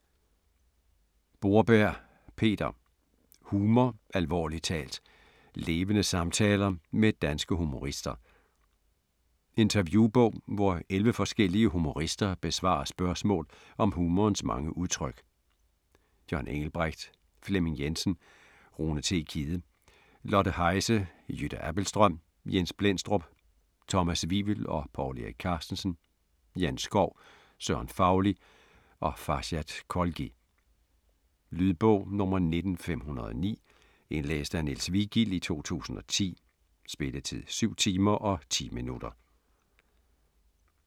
Borberg, Peter: Humor - alvorligt talt: levende samtaler med danske humorister Interview-bog, hvor 11 forskellige humorister besvarer spørgsmål om humorens mange udtryk: John Engelbrecht, Flemming Jensen, Rune T. Kidde, Lotte Heise, Jytte Abildstrøm, Jens Blendstrup, Thomas Wivel & Povl Erik Carstensen, Jan Schou, Søren Fauli og Farshad Kholghi. Lydbog 19509 Indlæst af Niels Vigild, 2010. Spilletid: 7 timer, 10 minutter.